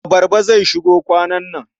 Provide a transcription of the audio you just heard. Abarba zai shigo kwanan nan.